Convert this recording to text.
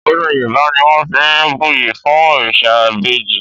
Ọdún Yorùbá ni wọ́n fi ń buyì fún òrìṣà ìbejì